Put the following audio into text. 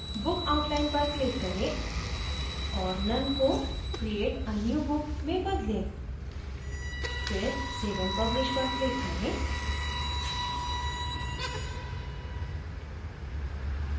book outline पर click करें और none को create a new book में बदलें फिर save and publish पर click करें